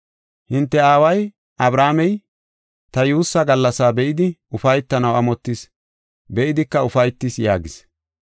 Hinte aaway Abrahaamey ta yuussaa gallasa be7idi ufaytanaw amottis; be7idika ufaytis” yaagis.